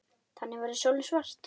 Þannig verður sólin svört.